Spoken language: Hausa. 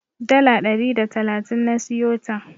Dala ɗari da talatin na siyota.